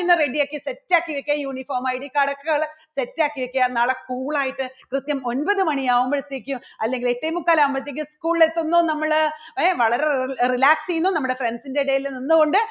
ready യാക്കി set ക്കി വെക്കുക uniformIDcard ക്കെകള് set ക്കി വെക്കുക നല്ല cool ആയിട്ട് കൃത്യം ഒൻപത് മണി ആകുമ്പോഴത്തേക്കും അല്ലെങ്കിൽ എട്ടേ മുക്കാൽ ആകുമ്പോഴത്തേക്കും school ലെത്തുന്നു നമ്മള് ഏ വളരെ റി~റി~ relax ചെയ്യുന്നു നമ്മുടെ friends ന്റെ ഇടയിൽ നിന്നുകൊണ്ട്